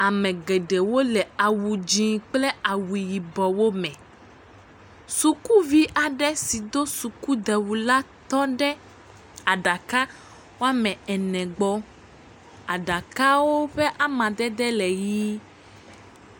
Ame geɖewo le awu dzɛ̃ kple awu yibɔwo me. Sukuvi aɖe si do sukudewu la tɔ ɖe aɖaka woame ene gbɔ. Aɖako ƒe amadede le yi.